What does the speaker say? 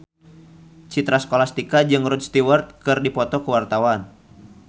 Citra Scholastika jeung Rod Stewart keur dipoto ku wartawan